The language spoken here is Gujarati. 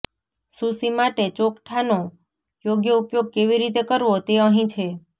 સુશી માટે ચોકઠાંનો યોગ્ય ઉપયોગ કેવી રીતે કરવો તે અહીં છે